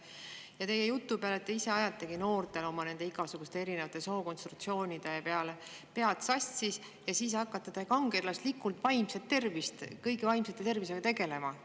Ja teie jutu peale, et te ise ajategi noortel oma igasuguste sookonsultatsioonide tõttu pead sassi ja siis hakkate kangelaslikult vaimse tervisega tegelema.